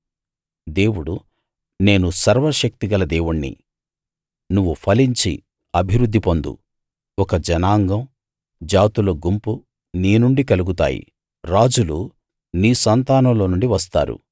దేవుడు నేను సర్వశక్తిగల దేవుణ్ణి నువ్వు ఫలించి అభివృద్ధి పొందు ఒక జనాంగం జాతుల గుంపు నీనుండి కలుగుతాయి రాజులు నీ సంతానంలో నుండి వస్తారు